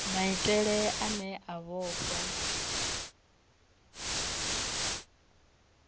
na maitele ane a vhofha